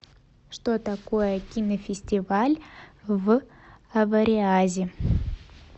что такое кинофестиваль в авориазе